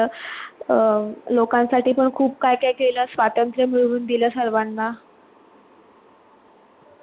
अं लोकांसाठी पण खूप काय काय केलं. स्वतंत्र मिळवून दिलं सर्वांना